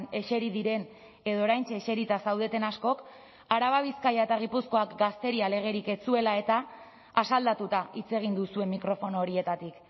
eseri diren edo oraintxe eserita zaudeten askok araba bizkaia eta gipuzkoak gazteria legerik ez zuela eta asaldatuta hitz egin duzue mikrofono horietatik